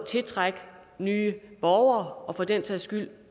tiltrække nye borgere og for den sags skyld